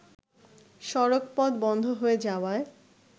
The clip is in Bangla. সড়কপথ বন্ধ হয়ে যাওয়ায়